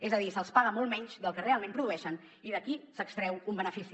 és a dir se’ls paga molt menys del que realment produeixen i d’aquí s’extreu un benefici